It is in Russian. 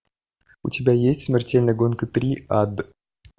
у тебя есть смертельная гонка три ад